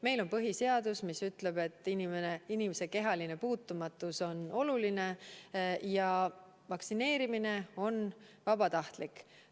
Meil on põhiseadus, mis ütleb, et inimese kehaline puutumatus on oluline, ja vaktsineerimine on vabatahtlik.